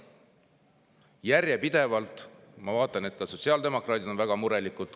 Järjepidevalt, ma vaatan, ka sotsiaaldemokraadid on väga murelikud.